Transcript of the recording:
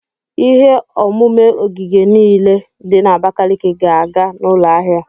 Ihe omume ogige niile dị na Abakaliki ga-aga n'ụlọ ahịa.